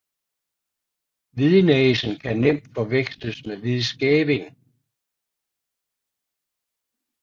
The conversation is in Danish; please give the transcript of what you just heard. Hvidnæsen kan nemt forveksles med hvidskæving